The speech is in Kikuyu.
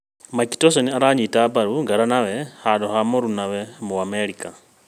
Mike Tyson aranyita mbaru ngaranawe handũ ha mũrunawe mũ-Amerika